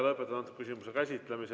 Lõpetan antud küsimuse käsitlemise.